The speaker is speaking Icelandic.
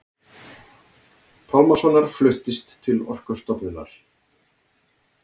Pálmasonar fluttist til Orkustofnunar.